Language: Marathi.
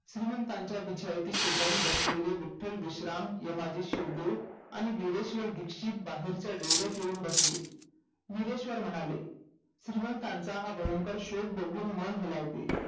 श्रीमंतीच्या बिछायती शेजारी बसलेले विट्टलबिश्राम यमाजी शिवदेव भिरेश्व्र दीक्षित बाहेर च्या ढेर्यात येऊन बसले भिरेश्व्र म्हणाले श्रीमंतांचा भयंकर शोक बघून मन घालवते